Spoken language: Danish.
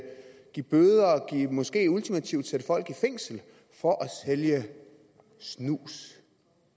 give bøder og måske ultimativt sætte folk i fængsel for at sælge snus